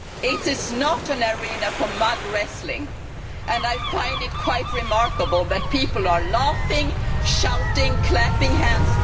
It is not an arena for mud wrestling and I find it quite remarkable that people are laughing, shouting, clapping hands.